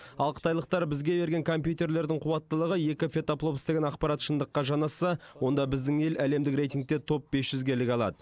ал қытайлықтар бізге берген компьютерлердің қуаттылығы екі петафлопс деген ақпарат шындыққа жанасса онда біздің ел әлемдік рейтингте топ бес жүзге іліге алады